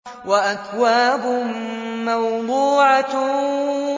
وَأَكْوَابٌ مَّوْضُوعَةٌ